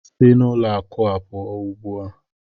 Si na ụlọ akụ a pụọ ugbu a!